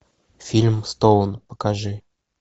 фильм стоун покажи